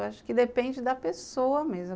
Acho que depende da pessoa mesmo.